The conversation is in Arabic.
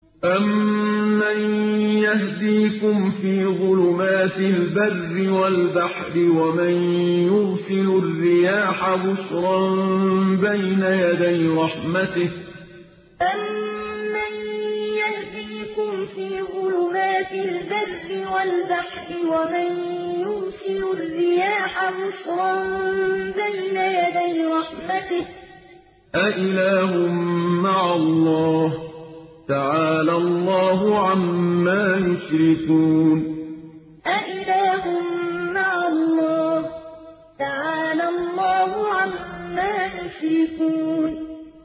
أَمَّن يَهْدِيكُمْ فِي ظُلُمَاتِ الْبَرِّ وَالْبَحْرِ وَمَن يُرْسِلُ الرِّيَاحَ بُشْرًا بَيْنَ يَدَيْ رَحْمَتِهِ ۗ أَإِلَٰهٌ مَّعَ اللَّهِ ۚ تَعَالَى اللَّهُ عَمَّا يُشْرِكُونَ أَمَّن يَهْدِيكُمْ فِي ظُلُمَاتِ الْبَرِّ وَالْبَحْرِ وَمَن يُرْسِلُ الرِّيَاحَ بُشْرًا بَيْنَ يَدَيْ رَحْمَتِهِ ۗ أَإِلَٰهٌ مَّعَ اللَّهِ ۚ تَعَالَى اللَّهُ عَمَّا يُشْرِكُونَ